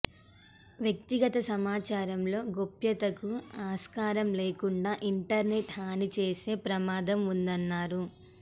వ్యక్తిగత సమాచారంలో గోప్యతకు ఆస్కారం లేకుండా ఇంటర్నెట్ హానిచేసే ప్రమాదం ఉందన్నారు